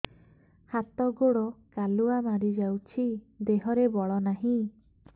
ହାତ ଗୋଡ଼ କାଲୁଆ ମାରି ଯାଉଛି ଦେହରେ ବଳ ନାହିଁ